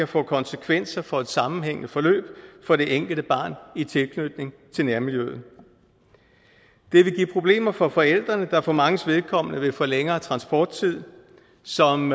få konsekvenser for et sammenhængende forløb for det enkelte barn i tilknytning til nærmiljøet det vil give problemer for forældrene der for manges vedkommende vil få længere transporttid som